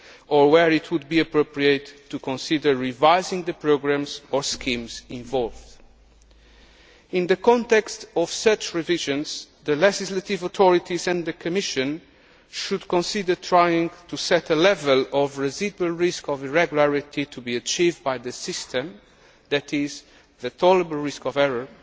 controls, or where it would be appropriate to consider revising the programmes or schemes involved. In the context of such revisions, the legislative authorities and the Commission should consider trying to set a level of residual risk of irregularity to be achieved by the system, that is, the tolerable risk